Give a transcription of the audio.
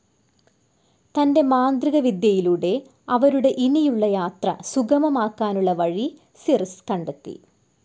തന്റെ മാന്ത്രികവിദ്യയിലൂടെ, അവരുടെ ഇനിയുളള യാത്ര സുഗമമാക്കാനുളള വഴി സിർസ്‌ കണ്ടെത്തി.